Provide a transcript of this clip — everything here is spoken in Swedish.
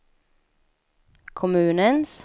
kommunens